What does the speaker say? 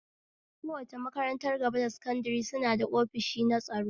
Kowace makarantar gaba da sankadare suna ofishi na tsaro